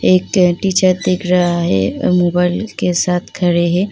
एक देख रहा है और मोबाईल के साथ खड़े हैं।